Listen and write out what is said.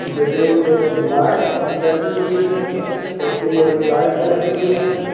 Building में light लगी हुई है छोटी-बड़ी लाइट लगी हुई है।